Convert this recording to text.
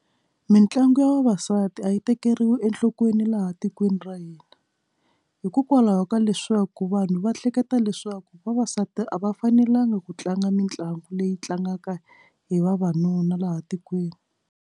Mintlangu ya vavasati a yi tekeriwi enhlokweni laha tikweni ra hina hikokwalaho ka leswaku vanhu va hleketa leswaku vavasati a va fanelanga ku tlanga mitlangu leyi tlangaka hi vavanuna laha tikweni.